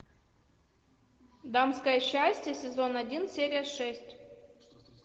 дамское счастье сезон один серия шесть